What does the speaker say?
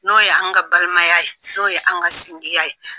N'o ye an ka balimaya ye, n'o ye an ka sindiya ye.